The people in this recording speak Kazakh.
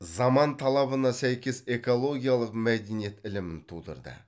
заман талабына сәйкес экологиялық мәдениет ілімін тудырды